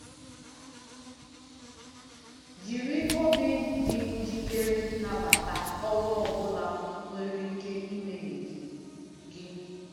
Jiri obi dị njikere nabata ọrụ ọ bụla nwere ike imeghe gị. gị.